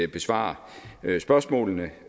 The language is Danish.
besvare spørgsmålene